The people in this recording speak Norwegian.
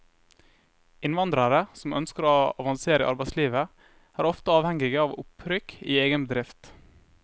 Innvandrere som ønsker å avansere i arbeidslivet, er ofte avhengige av opprykk i egen bedrift.